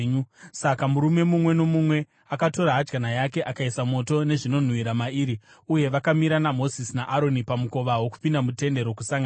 Saka murume mumwe nomumwe akatora hadyana yake, akaisa moto nezvinonhuhwira mairi, uye vakamira naMozisi naAroni pamukova wokupinda muTende Rokusangana.